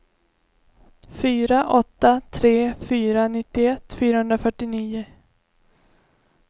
fyra åtta tre fyra nittioett fyrahundrafyrtionio